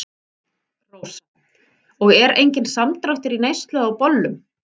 Rósa: Og er enginn samdráttur í neyslu á bollum?